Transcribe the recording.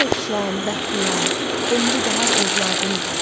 Bakı tək şən, bəxtiyar, ömrü bahar övladın var.